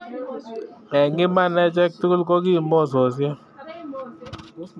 En iman echek tugul koki mososiek